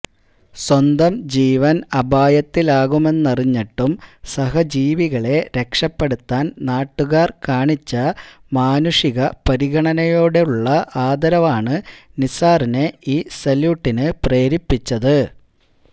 സ്വന്തം ജീവന് അപായത്തിലാകുമെന്നറിഞ്ഞിട്ടും സഹജീവികളെ രക്ഷപെടുത്താന് നാട്ടുകാര് കാണിച്ച മാനുഷിക പരിഗണനയോടുള്ള ആദരവാണ് നിസാറിനെ ഈ സല്യൂട്ടിന് പ്രേരിപ്പിച്ചത്